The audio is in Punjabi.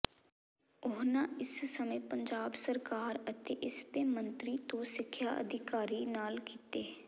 ਉਨ੍ਹਾਂ ਇਸ ਸਮੇਂ ਪੰਜਾਬ ਸਰਕਾਰ ਅਤੇ ਇਸ ਦੇ ਮੰਤਰੀ ਤੋਂ ਸਿੱਖਿਆ ਅਧਿਕਾਰੀ ਨਾਲ ਕੀਤੇ